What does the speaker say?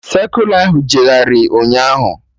Sekụla ahụ jegharị ụnyaahụ